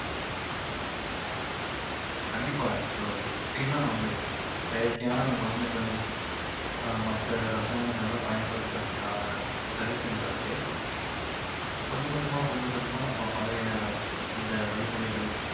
கண்டிப்பா இப்போ எப்படினா நம்ம செயற்கையான மருந்துகள் அஹ் மத்த ரசாயனங்களாம் பயன்படுத்துறதுக்~ சரி செஞ்சாவே கொஞ்ச கொஞ்சமா கொஞ்ச கொஞ்சமா நம்ம பழைய அந்த வழிமுறைகள்